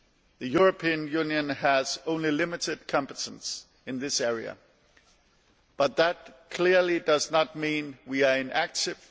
The European Union has only limited competence in this area, but that clearly does not mean that we are inactive.